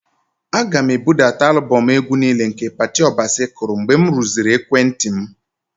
Aga m ebudata alụbọmụ egwu niile nke Patty Obasi kụrụ mgbe m rụziri ekwentị m.